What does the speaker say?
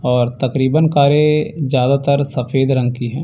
और तकरीबन कारे ज्यादातर सफेद रंग की है।